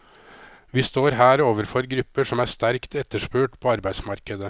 Vi står her overfor grupper som er sterkt etterspurt på arbeidsmarkedet.